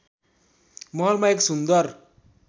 महलमा एक सुन्दर